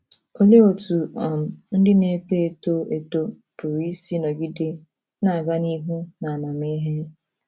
Olee otú um ndị na - eto eto eto pụrụ isi nọgide “ na - aga n’ihu n’amamihe ”?